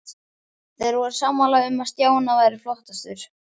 Þeir voru sammála um að Stjána væri flottastur.